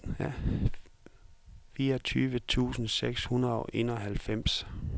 fireogtyve tusind seks hundrede og enoghalvfems